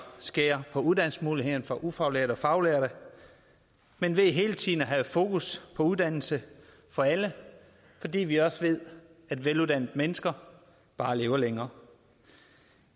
skære på uddannelsesmulighederne for ufaglærte og faglærte men ved hele tiden at have fokus på uddannelse for alle fordi vi også ved at veluddannede mennesker bare lever længere